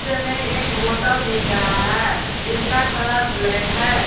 एक होटल दिख रहा है जिसका कलर ब्लैक है।